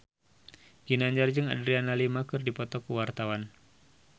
Ginanjar jeung Adriana Lima keur dipoto ku wartawan